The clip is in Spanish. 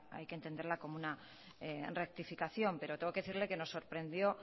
hay que entenderla como una rectificación pero tengo que decirle que nos sorprendió